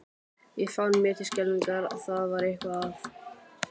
Ég fann mér til skelfingar að það var eitthvað að.